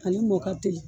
Ani mɔ ka teli